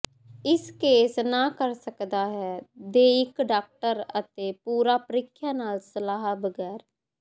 ਇਸ ਕੇਸ ਨਾ ਕਰ ਸਕਦਾ ਹੈ ਦੇ ਇਕ ਡਾਕਟਰ ਅਤੇ ਪੂਰਾ ਪ੍ਰੀਖਿਆ ਨਾਲ ਸਲਾਹ ਬਗੈਰ